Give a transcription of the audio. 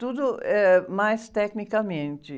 Tudo, eh, mais tecnicamente.